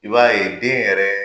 I b'a ye den yɛrɛ